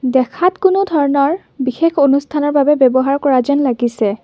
দেখাত কোনো ধৰণৰ বিশেষ অনুষ্ঠানৰ বাবে ব্যৱহাৰ কৰা যেন লাগিছে।